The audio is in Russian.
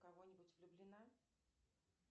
в кого нибудь влюблена